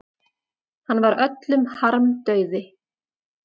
Hann var öllum harmdauði.